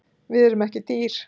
Við erum ekki dýr.